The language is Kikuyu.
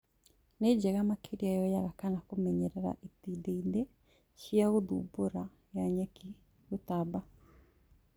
Nĩ njega makĩria yoyagwo kana kũmenyerera itindiĩ-ina cia gũthumbũra ya nyeki ya gũtamba